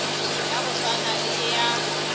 ya go swana le ya